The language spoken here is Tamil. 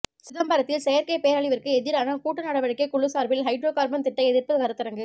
சிதம்பரத்தில் செயற்கை பேரழிவிற்கு எதிரான கூட்டு நடவடிக்கை குழு சார்பில் ஹைட்ரோ கார்பன் திட்ட எதிர்ப்பு கருத்தரங்கு